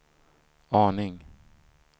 aning